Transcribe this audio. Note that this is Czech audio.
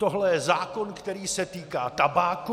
Tohle je zákon, který se týká tabáku!